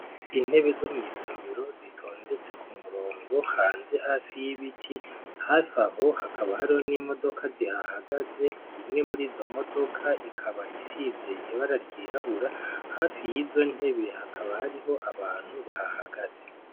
Intebe zo mw'isomero, zitondetse kumurongo hanze hafi y'ibiti. Hafi aho, hakaba hariho n'imodoka zihahagaze, imwe muri izo modoka, ikaba isize ibara ryirabura. Hafi y'izo ntebe, hakaba hariho abantu bahahagaze.